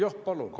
Jah, palun!